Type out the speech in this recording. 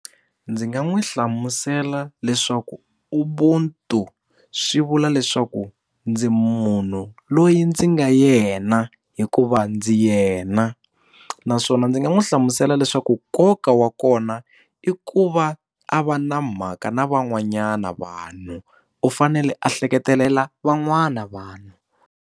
Ndzi nga n'wi hlamusela leswaku Ubuntu swi vula leswaku ndzi munhu loyi ndzi nga yena hikuva ndzi yena naswona ndzi nga n'wi hlamusela leswaku nkoka wa kona i ku va a va na mhaka na van'wanyana vanhu u fanele a hleketelela van'wana vanhu.